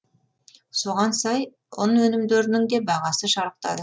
соған сай ұн өнімдерінің де бағасы шарықтады